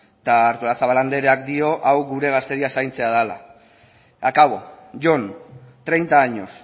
eta artolazabal andereak dio hau gure gazteria zaintzea dela acabo jon treinta años